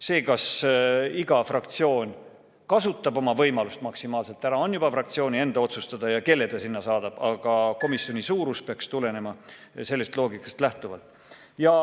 See, kas iga fraktsioon kasutab oma võimalust maksimaalselt ära, on juba fraktsiooni enda otsustada, samuti see, kelle ta sinna saadab, aga komisjoni suurus peaks tulenema sellest loogikast lähtuvalt.